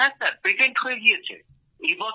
আজ্ঞে হ্যাঁ পেটেন্ট হয়ে গিয়েছে